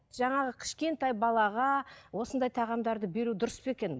жаңағы кішкентай балаға осындай тағамдарды беру дұрыс па екен